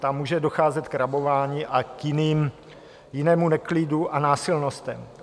Tam může docházet k rabování a k jinému neklidu a násilnostem.